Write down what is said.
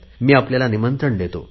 मी आपल्याला निमंत्रण देतो